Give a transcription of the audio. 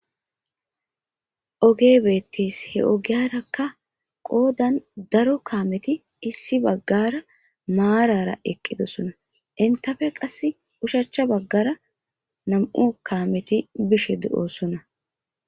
oge beettis he ogiyarakka qoodan daro kaameti issi baggara maarara eqqidosona intafe qass ushachcha baggara nam7u kaameti bishe de7oosona